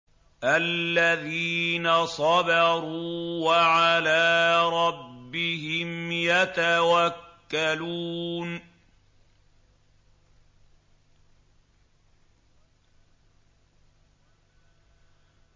الَّذِينَ صَبَرُوا وَعَلَىٰ رَبِّهِمْ يَتَوَكَّلُونَ